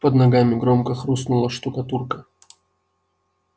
под ногами громко хрустнула штукатурка